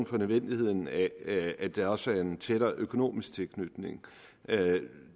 for nødvendigheden af at der også er en tættere økonomisk tilknytning